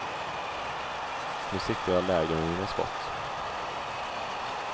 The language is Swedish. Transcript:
Nu siktar jag lägre med mina skott.